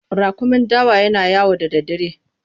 Raƙumin dawa yana yawo da daddare.